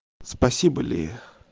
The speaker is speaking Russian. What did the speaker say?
спасибо ли